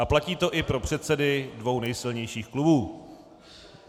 A platí to i pro předsedy dvou nejsilnějších klubů.